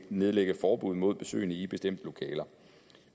nedlægge forbud mod besøgende i bestemte lokaler